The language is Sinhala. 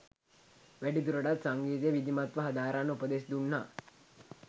වැඩි දුරටත් සංගීතය විධිමත්ව හදාරන්න උපදෙස් දුන්නා